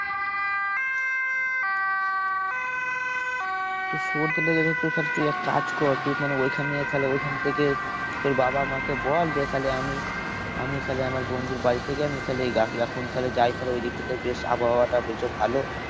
তোর সর্দি লেগেছে তোর তাহলে এক কাজ কর। তুই মানে ওখান দিয়ে তাহলে ওইখান থেকে তোর বাবা মা কে বল যে, তাহলে আমি আমি তাহলে আমার বন্ধুর থেকে আমি তাহলে এখন তাহলে যাই তাহলে ঐদিকটা তে বেশ আবহাওয়াটা বলছে ভালো।